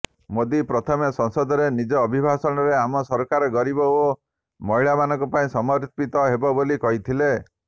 ମୋଦି ପ୍ରଥମେ ସଂସଦରେ ନିଜ ଅଭିଭାଷଣରେ ଆମ ସରକାର ଗରିବ ଓ ମହିଳାଙ୍କ ପାଇଁ ସମର୍ପିତ ହେବ ବୋଲି କହିଥିଲେ